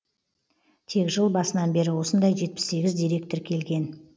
тек жыл басынан бері осындай жетпіс сегіз дерек тіркелген